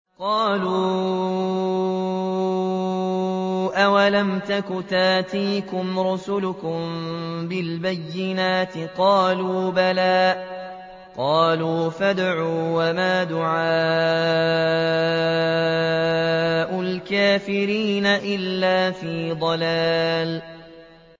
قَالُوا أَوَلَمْ تَكُ تَأْتِيكُمْ رُسُلُكُم بِالْبَيِّنَاتِ ۖ قَالُوا بَلَىٰ ۚ قَالُوا فَادْعُوا ۗ وَمَا دُعَاءُ الْكَافِرِينَ إِلَّا فِي ضَلَالٍ